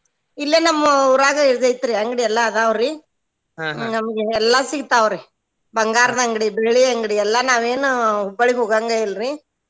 ಇಲ್ಲೆ ನಮ್ಮ ಊರಾಗ ಇದ್ ಐತ್ರಿ ಅಂಗ್ಡಿ ಎಲ್ಲಾ ಅದಾವ್ರಿ ನಮ್ಗೆ ಎಲ್ಲಾ ಸಿಗ್ತಾವ್ರಿ ಬಂಗಾರದ್ ಅಂಗ್ಡಿ, ಬೆಳ್ಳಿ ಅಂಗ್ಡಿ, ಎಲ್ಲಾ ನಾವೇನ್ Hubballi ಗ್ ಹೋಗಾಂಗೇ ಇಲ್ರೀ.